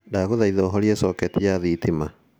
ndaguthaitha uhorie coketi ya thitima